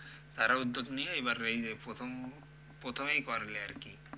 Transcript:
তারা উদ্যোগ নিয়ে এবার এই যে প্রথম, প্রথমেই করলে আরকি।